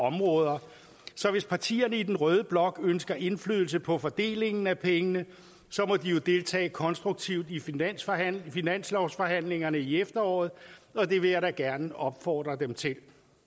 områder så hvis partierne i den røde blok ønsker indflydelse på fordelingen af pengene så må de jo deltage konstruktivt i finanslovsforhandlingerne i efteråret og det vil jeg da gerne opfordre dem til